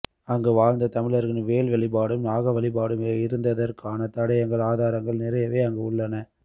அங்கு வாழ்ந்த தமிழர்களின் வேல் வழிபாடும் நாக வழிபாடும் இருந்ததற்கான தடயங்கள் ஆதாரங்கள் நிறையவே அங்கு உள்ளன